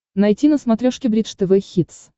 найти на смотрешке бридж тв хитс